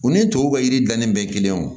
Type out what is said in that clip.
U ni tɔw ka yiri dannen bɛ kelen ye o